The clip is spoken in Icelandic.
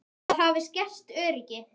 Það hafi skert öryggi.